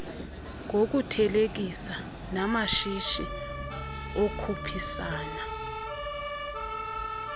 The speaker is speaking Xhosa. ngokuthelekisa namashishi okhuphisana